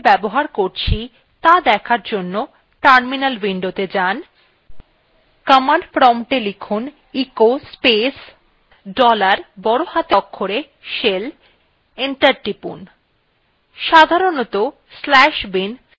command প্রম্পটএ লিখুনecho space dollar বড় হাতের অক্ষরে shell enter টিপুন